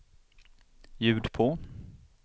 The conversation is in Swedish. ljud på